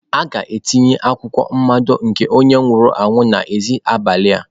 A ga-etinye akwụkwọ mmado nke onye nwụrụ anwụ n'èzí abalị a.